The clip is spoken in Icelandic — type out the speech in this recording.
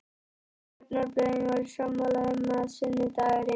Stjórnarblöðin voru sammála um, að sunnudagurinn